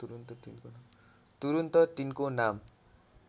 तुरून्त तिनको नाम